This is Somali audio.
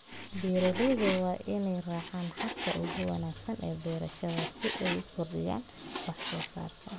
Beeralayda waa in ay raacaan habka ugu wanaagsan ee beerashada si ay u kordhiyaan wax soo saarka.